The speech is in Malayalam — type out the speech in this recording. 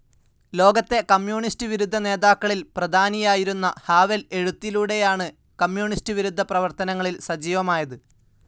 ലോകത്തെ കമ്മ്യൂണിസ്റ്റ്‌ വിരുദ്ധ നേതാക്കളിൽ പ്രധാനിയായിരുന്ന ഹാവെൽ എഴുത്തിലൂടെയാണ് കമ്മ്യൂണിസ്റ്റ്‌ വിരുദ്ധ പ്രവർത്തനങ്ങളിൽ സജീവമായത്.